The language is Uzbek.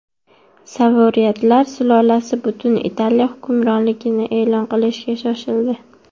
Savoyardlar sulolasi butun Italiya hukmronligini e’lon qilishga shoshildi.